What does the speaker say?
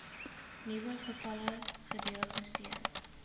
nuwe gevalle gediagnoseer